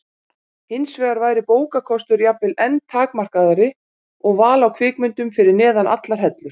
Hinsvegar væri bókakostur jafnvel enn takmarkaðri og val á kvikmyndum fyrir neðan allar hellur.